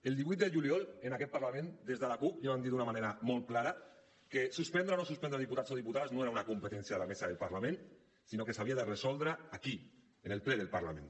el divuit de juliol en aquest parlament des de la cup ja vam dir d’una manera molt clara que suspendre o no suspendre diputats o diputades no era una competència de la mesa del parlament sinó que s’havia de resoldre aquí en el ple del parlament